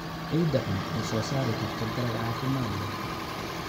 Ciidda xun ma soo saari karto dalag caafimaad leh.